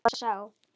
Hver var sá?